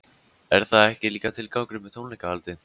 Er það ekki líka tilgangurinn með tónleikahaldi?